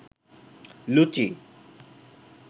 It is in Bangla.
লুচি